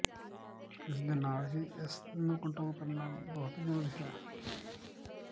ਇਸ ਦੇ ਨਾਲ ਹੀ ਇਸ ਨੂੰ ਕੰਟਰੋਲ ਕਰਨਾ ਬਹੁਤ ਜ਼ਰੂਰੀ ਹੈ